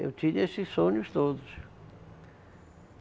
Eu tinha esses sonhos todos.